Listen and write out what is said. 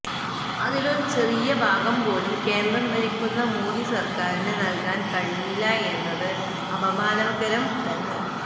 അതിലൊരു ചെറിയ ഭാഗം പോലും കേന്ദ്രം ഭരിക്കുന്ന മോദി സര്ക്കാറിന് നല്കാന് കഴിഞ്ഞില്ല എന്നത് അപമാനകരം തന്നെ